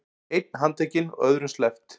Einn handtekinn og öðrum sleppt